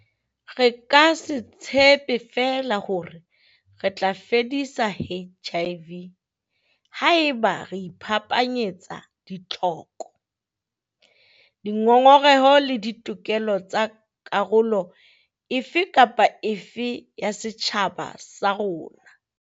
Re ka se tshepe feela hore re tla fedisa HIV haeba re iphapanyetsa ditlhoko, dingongoreho le ditokelo tsa karolo e fe kapa e fe ya setjhaba sa rona.